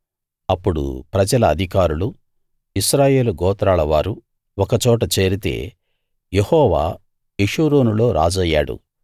అప్పుడు ప్రజల అధికారులూ ఇశ్రాయేలు గోత్రాలవారూ ఒకచోట చేరితే యెహోవా యెషూరూనులో రాజయ్యాడు